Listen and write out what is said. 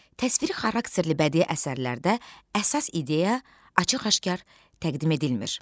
Təsviri xarakterli bədii əsərlərdə əsas ideya açıq-aşkar təqdim edilmir.